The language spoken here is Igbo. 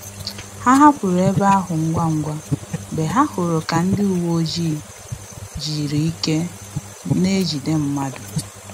Ha hapụrụ ebe ahụ ngwa ngwa mgbe ha hụrụ ka ndị uweojii jiri ike n'ejide mmadụ